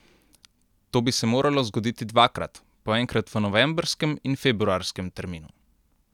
To bi se moralo zgoditi dvakrat, po enkrat v novembrskem in februarskem terminu.